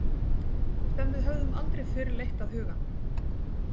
Sem við höfðum aldrei fyrr leitt að hugann.